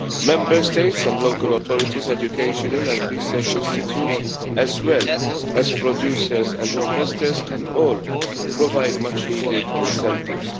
Member States and local authorities, educational and research institutes, as well as producers and investors can all provide much needed incentives.